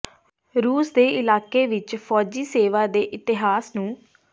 ਰੂਸ ਦੇ ਇਲਾਕੇ ਵਿਚ ਫੌਜੀ ਸੇਵਾ ਦੇ ਇਤਿਹਾਸ ਨੂੰ